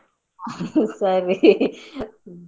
ಸರೀ.